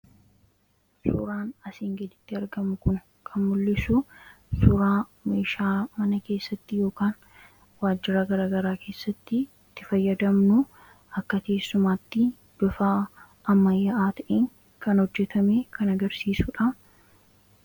Suuraan asii gaditti argamu kun kan mul'isu suuraa meeshaa mana keessatti yookaan waajjira garaagaraa keessatti itti fayyadamnu keessumatti bifa ammayyaa ta'een kan hojjatame kan agarsiisudha.